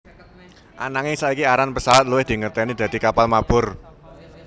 Ananging saiki aran pesawat luwih dingerteni dadi kapal mabur